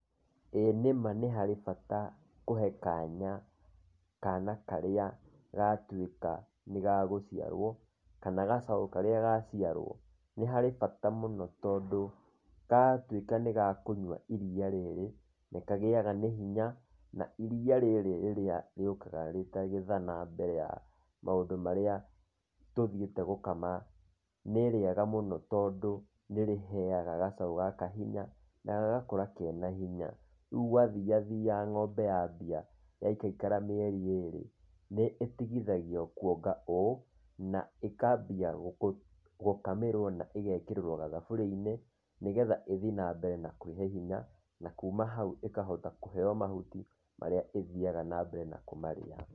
Ĩĩ nĩma nĩ harĩ bata kũhe kanya kaana karĩa gatuĩka nĩ gagũciarwo kana gacaũ karĩa gaciarwo. Nĩ harĩ bata mũno tondũ gatuĩka nĩ gakũnyua iriia rĩrĩ nĩ kagĩaga nĩ hinya na iriia rĩrĩ rĩrĩa rĩũkaga rĩ ta gĩthana mbere ya maũndũ marĩa tũthiĩte gũkama nĩ rĩega mũno tondũ nĩ rĩheaga gacaũ gaka hinya na gagakũra kenya hinya. Rĩu gwathiathia ng'ombe yambia yaikaikara mĩeri ĩĩrĩ nĩ ĩtigithagio kuonga ũũ na ĩkambia gũkamĩrwo na ĩgekĩrĩrwo gathaburia-inĩ nĩ getha ĩthiĩ na mbere na kwĩhe hinya na kuuma hau ĩkahota kũheo mahuti marĩa ĩthiaga na mbere na kũmarĩa.